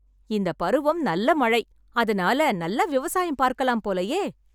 இந்த பருவம் நல்ல மழை. அதனால நல்லா விவசாயம் பார்க்கலாம் போலயே